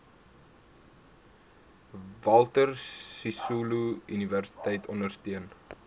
walter sisuluuniversiteit ondersteun